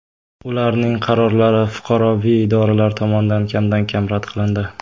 Ularning qarorlari fuqaroviy idoralar tomonidan kamdan-kam rad qilindi.